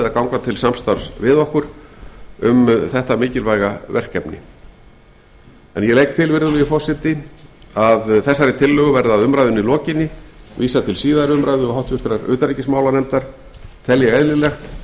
að ganga til samstarfs við okkur um þetta mikilvæga verkefni ég legg til virðulegi forseti að þessari tillögu verði að umræðunni lokinni vísað til síðari umræðu og háttvirtrar utanríkismálanefndar tel ég eðlilegt að